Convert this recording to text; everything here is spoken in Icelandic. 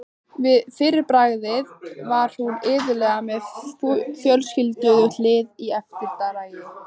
Fyrir bragðið var hún iðulega með fjölskrúðugt lið í eftirdragi.